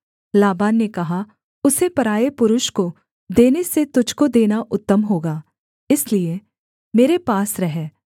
लाबान ने कहा उसे पराए पुरुष को देने से तुझको देना उत्तम होगा इसलिए मेरे पास रह